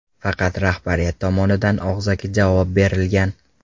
Faqat rahbariyat tomonidan og‘zaki javob berilgan.